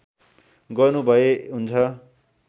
गर्नुभए हुन्छ